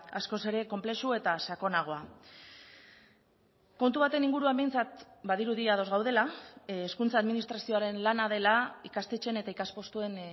askoz ere konplexu eta sakonagoa kontu baten inguruan behintzat badirudi ados gaudela hezkuntza administrazioaren lana dela ikastetxeen eta ikaspostuen